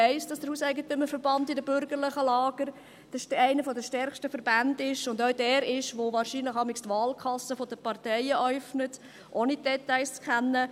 Ich weiss, dass der HEV in den bürgerlichen Lagern einer der stärksten Verbände ist und auch derjenige ist, der wahrscheinlich jeweils die Wahlkassen der Parteien äufnet – ohne die Details zu kennen.